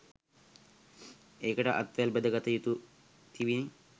එකට අත්වැල් බැඳ ගත යුතුව තිබිණ.